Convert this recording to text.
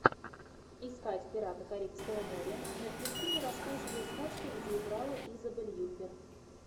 искать пираты карибского моря мертвецы не рассказывают сказки где играла изабель юппер